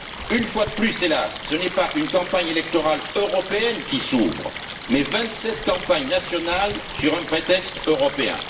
Une fois de plus, hélas, ce n'est pas une campagne électorale européenne qui s'ouvre, mais vingt sept campagnes nationales sur un prétexte européen.